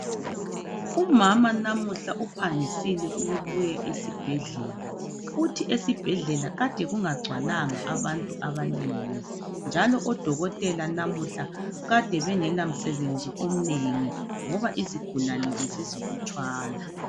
Umama namuhla uphangisile ukubuya esibhedlela uthi esibhedlela kade kungagcwalanga abantu abanengi njalo odokotela lamhla kade bengela msebenzi omnengi ngoba izigulane bezizilutshwana.